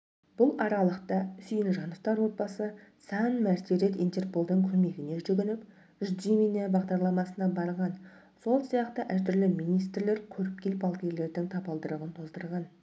бұл аралықта сүйінжановтар отбасы сан мәрте рет интерполдың көмегіне жүгініп жди меня бағдарламасына барған сол сияқты әртүрлі министрлер көріпкел-балгерлердің табалдырығын тоздырған